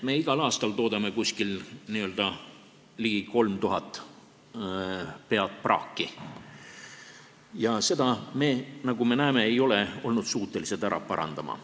Me toodame igal aastal n-ö ligi 3000 pead praaki ja seda me, nagu me näeme, ei ole olnud suutelised parandama.